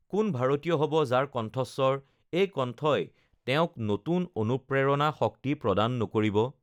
কোন ভাৰতীয় হ'ব, যাৰ কণ্ঠস্বৰ, এই কণ্ঠই তেওঁক নতুন অনুপ্ৰেৰণা, শক্তি প্ৰদান নকৰিব?